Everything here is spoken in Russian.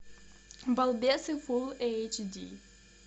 балбесы фулл эйч ди